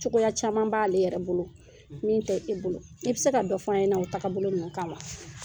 Cogoya caman b'ale yɛrɛ bolo min tɛ e bolo i bɛ se ka dɔ fɔ an ɲɛnɛ o tagabolo ninnu kan wa?